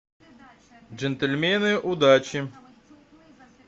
джентльмены удачи